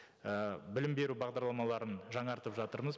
і білім беру бағдарламаларын жаңартып жатырмыз